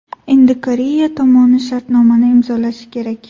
Endi Koreya tomoni shartnomani imzolashi kerak.